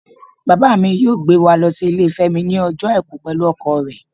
Baba mí yọọ gbé wa lo si ilé femi ní ojo aiku pẹlu ọkọ re.